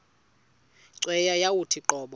cweya yawathi qobo